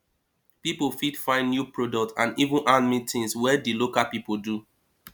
pipo fit find new product and even handmade tins wey di local pipo do